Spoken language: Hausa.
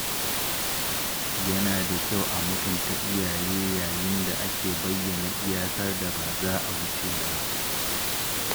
Yana da kyau a mutunta iyaye yayin da ake bayyana iyakar da ba za a wuce ba.